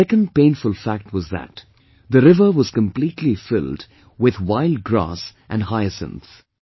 The second painful fact was that the river was completely filled with wild grass and hyacinth